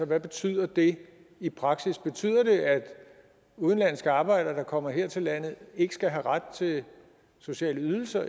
hvad betyder det i praksis betyder det at udenlandske arbejdere der kommer her til landet ikke skal have ret til sociale ydelser